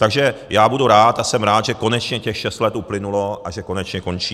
Takže já budu rád a jsem rád, že konečně těch šest let uplynulo a že konečně končí.